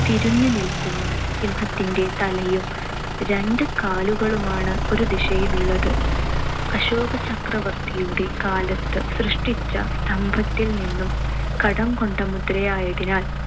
തിരിഞ്ഞു നിൽക്കുന്നു. സിംഹത്തിന്‍റെ തലയും രണ്ടുകാലുകളുമാണ് ഒരു ദിശയിലുള്ളത്. അശോകചക്രവർത്തിയുടെ കാലത്ത് സൃഷ്ടിച്ച സ്തംഭത്തിൽ നിന്നും കടംകൊണ്ട മുദ്രയായതിനാൽ